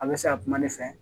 A bɛ se ka kuma ne fɛ